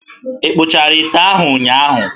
Ị kpụchara ite ahụ ụnyaahụ?